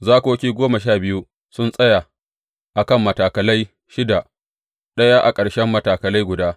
Zakoki goma sha biyu sun tsaya a kan matakalai shida, ɗaya a ƙarshen matakala guda.